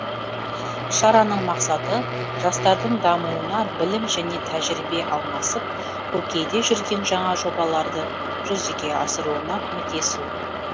шараның мақсаты жастардың дамуына білім және тәжірибе алмасып көкейде жүрген жаңа жобаларды жүзеге асыруына көмектесу